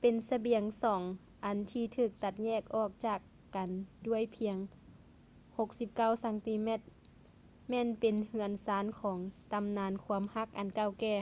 ເປັນລະບຽງສອງອັນທີ່ຖືກຕັດແຍກອອກຈາກກັນດ້ວຍພຽງ 69 ຊັງຕີແມັດ ແມ່ນເປັນເຮືອນຊານຂອງຕຳນານຄວາມຮັກອັນເກົ່າແກ່